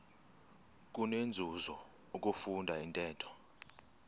kunenzuzo ukufunda intetho